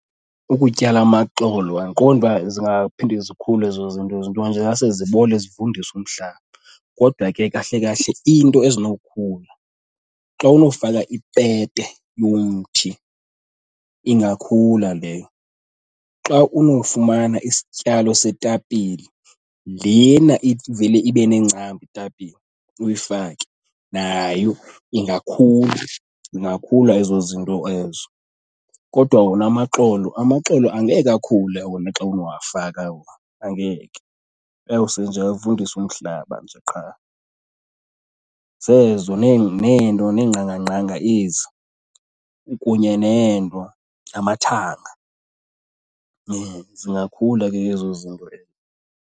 Ukutyala amaxolo andiqondi uba zingaphinda zikhule ezo zinto ezo, nto nje zingase zibole zivundise umhlaba. Kodwa ke kahle kahle iinto ezinokukhula xa unofaka ipete yomthi ingakhula leyo. Xa unofumana isityalo setapile, lena ivele ibe nengcambu itapile uyifake, nayo ingakhula, ingakhula ezo zinto ezo. Kodwa wona amaxolo, amaxolo angeke akhule wona xa unowafaka wona, angeke. Ayawuse nje avundise umhlaba nje qha. Zezo neento neengqangangqanga ezo kunye neento, namathanga, zingakhula ke ezo zinto .